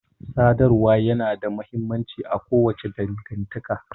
Sadarwa ya na da mahimmanci a kowace dangantaka